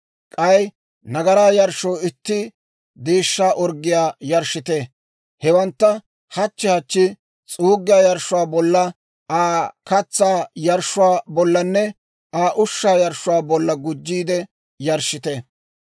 K'ay nagaraa yarshshoo itti deeshshaa orggiyaa yarshshite. Hewantta hachchi hachchi s'uuggiyaa yarshshuwaa bolla, Aa katsaa yarshshuwaa bollanne Aa ushshaa yarshshuwaa bolla gujjiide yarshshite.